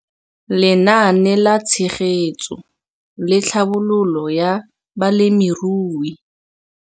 Lenaane la Tshegetso le Tlhabololo ya Balemirui.